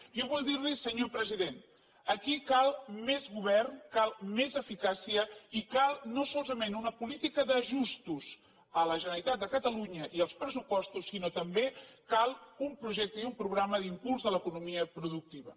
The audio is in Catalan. jo vull dir li senyor president aquí cal més govern cal més eficàcia i cal no solament una política d’ajustos a la generalitat de catalunya i als pressupostos sinó també cal un projecte i un programa d’impuls de l’economia productiva